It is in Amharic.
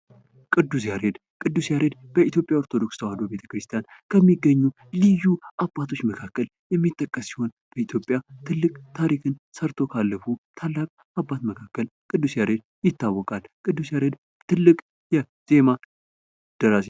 ቅዱስ ያሬድ በ6ኛው ክፍለ ዘመን የነበረ ታላቅ የኢትዮጵያዊ ቅዱስ፣ ሊቅ እና የዜማ ደራሲ በመሆን ይታወቃል። በኢትዮጵያ ኦርቶዶክስ ተዋህዶ ቤተ ክርስቲያን እጅግ የተከበረ ሲሆን የኢትዮጵያ የዜማ (መዝሙር) አባት ተደርጎም ይቆጠራል።